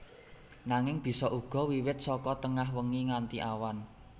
Nanging bisa uga wiwit saka tengah wengi nganti awan